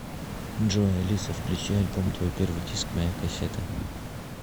джой алиса включи альбом твой первый диск моя кассета